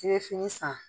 I bɛ fini san